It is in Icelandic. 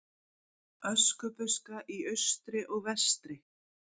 Öskubuska í austri og vestri.